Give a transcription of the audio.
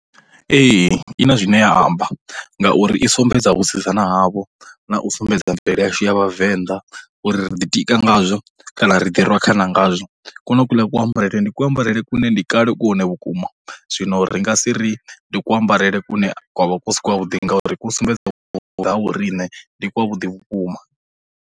Ee, i na zwine ya amba ngauri i sumbedza vhusidzana havho, na u sumbedza mvelele yashu ya vhavenḓa uri ri ḓi tika ngazwo, kana ri ḓi rwa khana ngazwo. Kwonokwuḽa kuambarele ndi kuambarele kune ndi kale ku hone vhukuma, zwino ri nga si ri ndi kuambarele kune kwa vha ku si kwavhuḓi ngauri ku sumbedza nga ha vho riṋe, ndi kwavhuḓi vhukuma.